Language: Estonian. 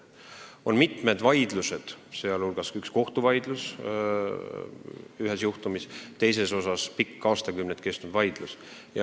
On mitmeid vaidlusi, sh üks kohtuvaidlus ühe juhtumi üle, üks pikk, aastakümneid kestnud vaidlus.